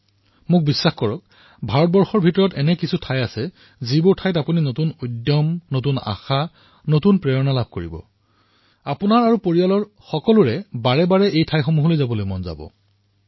আৰু মোক বিশ্বাস কৰক ভাৰতৰ ভিতৰতেই এনেকুৱা স্থান আছে যৰ পৰা আপোনালোকে নতুন ফূৰ্তি নতুন উৎসাহ নতুন উদ্দীপনা নতুন প্ৰেৰণা লৈ আহিব পাৰিব আৰু হব পাৰে কিছুমান স্থানলৈ আপোনালোকৰ বাৰে বাৰে যাবলৈ মন যাব আপোনালোকৰ পৰিয়ালৰো মন যাব পাৰে